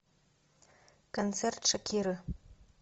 концерт шакиры